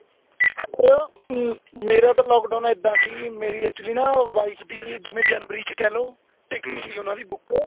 sir ਮੇਰਾ ਤਾਂ lock down ਇੱਦਾਂ ਸੀ ਮੇਰੀ actually ਨਾ wife ਦੀ ਜਿਵੇਂ ਜਨਵਰੀ ਵਿੱਚ ਕਹਿਲੋ ticket ਸੀ ਉਹਨਾ ਦੀ ਬੁੱਕ